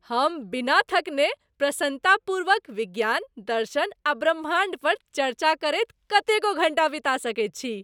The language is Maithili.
हम बिना थकने प्रसन्नतापूर्वक विज्ञान, दर्शन आ ब्रह्माण्ड पर चर्चा करैत कतेको घण्टा बिता सकैत छी।